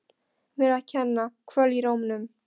Mér að kenna- Kvöl í rómnum.